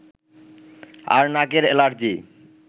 আর নাকের এলার্জি